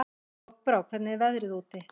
Lokbrá, hvernig er veðrið úti?